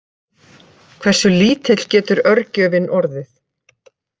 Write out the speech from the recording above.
Hversu lítill getur örgjörvinn orðið?